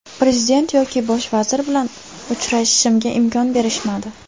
Prezident yoki bosh vazir bilan uchrashishimga imkon berishmadi.